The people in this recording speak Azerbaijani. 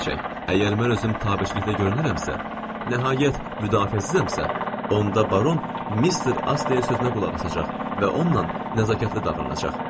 Əgər mən özüm tabeçilikdə görünürəmsə, nəhayət müdafiəsizəmsə, onda baron Mister Astleyn sözünə qulaq asacaq və onunla nəzakətli davranacaq.